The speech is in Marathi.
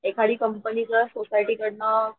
एखादी कंपनी किंवा सोसायटी कडनं